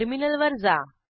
टर्मिनलवर जा